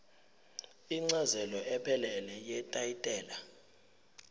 incazelo ephelele yetayitela